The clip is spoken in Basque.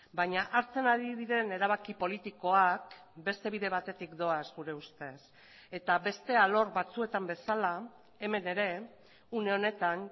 baina hartzen ari diren erabaki politikoak beste bide batetik doaz gure ustez eta beste alor batzuetan bezala hemen ere une honetan